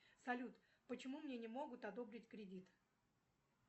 салют почему мне не могут одобрить кредит